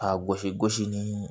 A gosi gosi ni